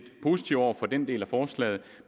positive over for den del af forslaget